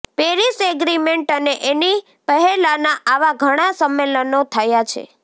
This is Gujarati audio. પેરિસ એગ્રીમેન્ટ અને એની પહેલાના આવા ઘણા સંમેલનો થયા છે